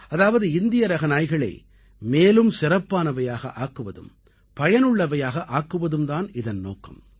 அதாவது இந்தியரக நாய்களை மேலும் சிறப்பானவையாக ஆக்குவதும் பயனுள்ளவையாக ஆக்குவதும் தான் இதன் நோக்கம்